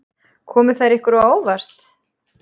Komu þær ykkur á óvart?